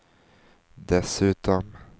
dessutom